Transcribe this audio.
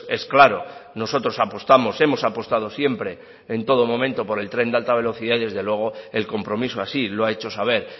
es claro nosotros apostamos hemos apostado siempre en todo momento por el tren de alta velocidad y desde luego el compromiso así lo ha hecho saber